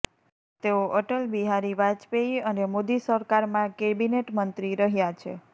તેઓ અટલ બિહારી વાજપેયી અને મોદી સરકારમાં કેબિનેટ મંત્રી રહ્યા છે